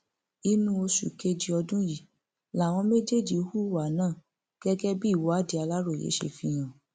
inú oṣù kejì ọdún yìí làwọn méjèèjì hùwà náà gẹgẹ bí ìwádìí aláròye ṣe fi hàn